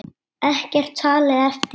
Ekkert talið eftir.